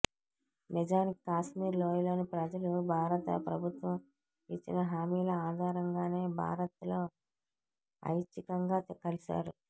నిజానికి కాశ్మీర్ లోయలోని ప్రజలు భారతప్రభుత్వం ఇచ్చిన హామీల ఆధారంగానే భారత్లో ఐచ్ఛికంగా కలిశారు